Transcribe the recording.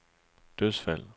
dødsfald